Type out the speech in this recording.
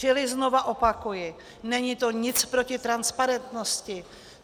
Čili znova opakuji, není to nic proti transparentnosti.